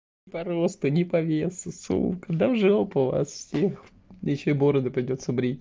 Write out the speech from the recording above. по росту ни по весу сука да в жопу вас всех ещё и бороду придётся брить